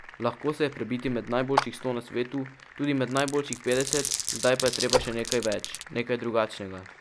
Lahko se je prebiti med najboljših sto na svetu, tudi med najboljših petdeset, zdaj pa je treba še nekaj več, nekaj drugačnega.